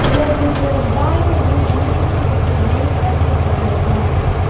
предупреждаю вы будете лицезреть в этой комнате